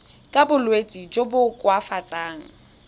ka bolwetsi jo bo koafatsang